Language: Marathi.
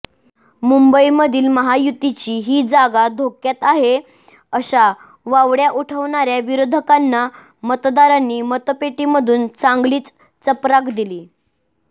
मुंबईमधील महायुतीची ही जागा धोक्यात आहे अशा वावडय़ा उठवणाऱ्या विरोधकांना मतदारांनी मतपेटीमधून चांगलीच चपराक दिली